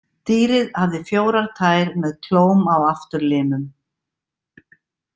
Dýrið hafði fjórar tær með klóm á afturlimum.